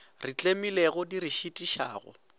re tlemilego di re šitišago